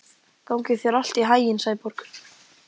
Gangi þér allt í haginn, Sæborg.